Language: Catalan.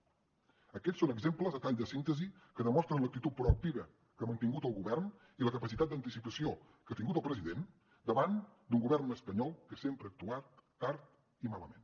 aquests són exemples a tall de síntesi que demostren l’actitud proactiva que ha mantingut el govern i la capacitat d’anticipació que ha tingut el president davant d’un govern espanyol que sempre ha actuat tard i malament